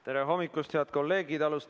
Tere hommikust, head kolleegid!